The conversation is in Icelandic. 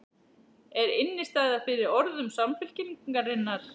Er innistæða fyrir orðum Samfylkingarinnar?